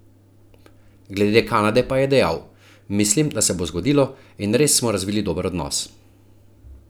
Glede Kanade pa je dejal: "Mislim, da se bo zgodilo in res smo razvili dober odnos.